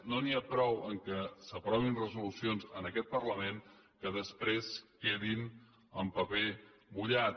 no n’hi ha prou que s’aprovin resolucions en aquest parlament que després quedin en paper mullat